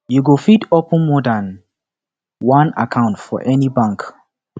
you go fit open more dan one account for any bank